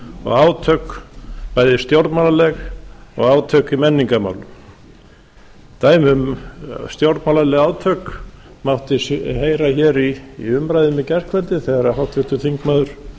og átök bæði stjórnmálaleg og átök í menningarmálum dæmi um stjórnmálaleg átök mátti heyra hér í umræðum í gærkvöldi þegar háttvirtur þingmaður